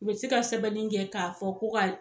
U be se ka sɛbɛnni kɛ k'a fɔ ko ka ye